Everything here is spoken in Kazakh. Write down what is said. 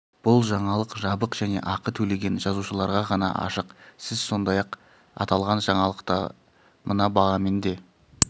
бұл жаңалық жабық және ақы төлеген жазылушыларға ғана ашық сіз сондай-ақ аталған жаңалықты мына бағамен де